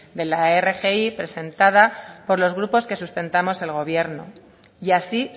de la rgi presentada por los grupos que sustentamos al gobierno y así